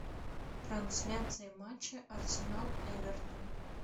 трансляция матча арсенал эвертон